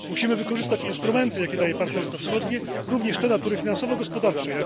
Musimy wykorzystać instrumenty, jakie daje partnerstwo wschodnie, również te natury finansowo gospodarczej